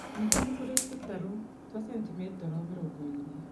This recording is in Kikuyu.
Ningĩ nĩ kũrĩ tũtarũ twa santimetero mĩrongo ĩrĩ